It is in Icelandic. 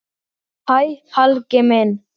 Hvað gafstu fyrir það?